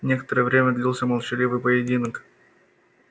некоторое время длился молчаливый поединок